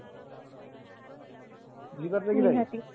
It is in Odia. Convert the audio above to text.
ବୁଝି ପାରିଲେ କି ନାଇଁ